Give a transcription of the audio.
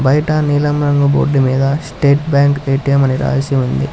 బయట నీలమ్మ నువ్వు బొడ్డు మీద స్టేట్ బ్యాంక్ ఎటిఎం అని రాసి ఉంది.